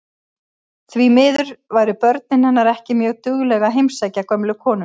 Því miður væru börnin hennar ekki mjög dugleg að heimsækja gömlu konuna.